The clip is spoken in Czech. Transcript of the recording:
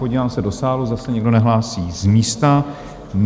Podívám se do sálu, zase někdo nehlásí z místa?